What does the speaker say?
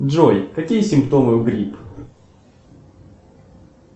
джой какие симптомы у грипп